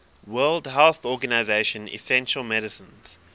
world health organization essential medicines